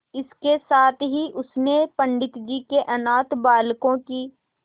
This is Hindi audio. इसके साथ ही उसने पंडित जी के अनाथ बालकों की